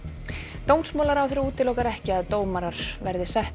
dómsmálaráðherra útilokar ekki að dómarar verði settir